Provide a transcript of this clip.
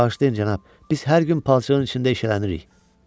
Bağışlayın, cənab, biz hər gün palçığın içində eşələnirik.